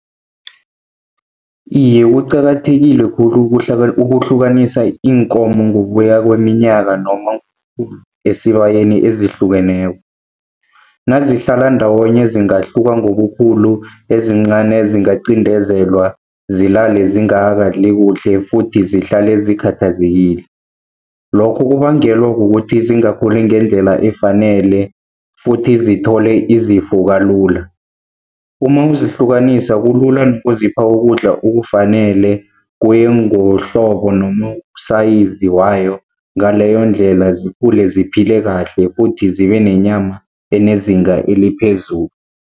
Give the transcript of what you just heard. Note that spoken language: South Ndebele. Iye, kuqakathekile khulu ukuhlukanisa iinkomo ngokuya kweminyaka noma esibayeni ezihlukeneko. Nazihlala ndawonye zingahluka ngobukhulu, ezincani zingacindezelwa zilale zingakalali kuhle futhi zihlale zikhathazekile. Lokho kubangelwa kukuthi zingakhuli ngendlela efanele futhi zithole izifo kalula. Uma uzihlukanisa kulula nokuzipha ukudla okufanele, kuye ngohlobo noma usayizi wayo, ngaleyo ndlela zikhule ziphile kahle futhi zibe nenyama enezinga eliphezulu.